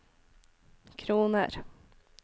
kroner